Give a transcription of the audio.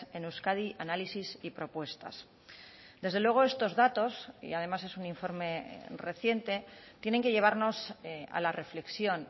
en euskadi análisis y propuestas desde luego estos datos y además es un informe reciente tienen que llevarnos a la reflexión